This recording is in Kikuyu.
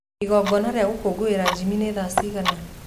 īgona rīa gūkungūwīra jimmy nī rīa thaa cīgana